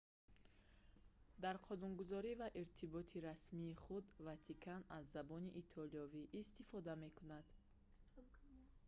дар қонунгузорӣ ва иртиботи расмии худ ватикан аз забони итолиёвӣ истифода мекунад